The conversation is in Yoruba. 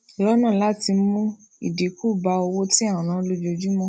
lọnà láti mú ìdínkù bá owó tí à ń ná lójúmó